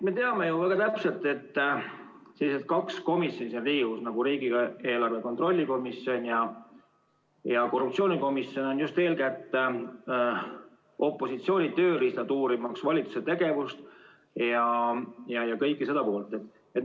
Me teame ju väga täpselt, et sellised kaks Riigikogu komisjoni nagu riigieelarve kontrolli erikomisjon ja korruptsioonikomisjon on just eeskätt opositsiooni tööriistad, uurimaks valitsuse tegevust ja kogu seda poolt.